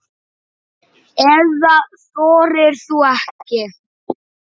Eða þorir þú ekki?